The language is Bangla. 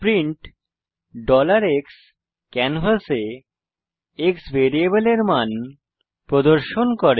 প্রিন্ট x ক্যানভাসে x ভ্যারিয়েবলের মান প্রদর্শন করে